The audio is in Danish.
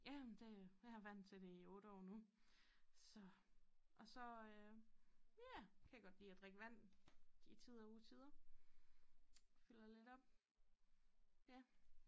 Ja men det jeg har vant til det i 8 år nu så og så øh ja kan jeg godt lide at drikke vand de tider utider fylder lidt op ja